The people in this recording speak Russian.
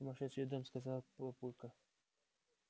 сумасшедший дом сказал папулька